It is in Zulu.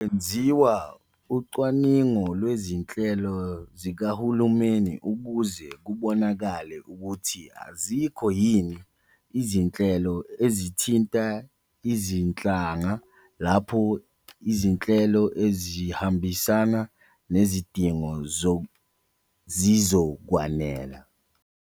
Kwenziwa ucwaningo lwezinhlelo zikahulumeni ukuze kubonakale ukuthi azikho yini izinhlelo ezithinta izinhlanga lapho izinhlelo ezihambisana nezidingo zizokwanela.